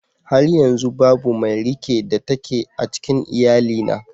Har yanzu babu mai rike da take a cikin iyalina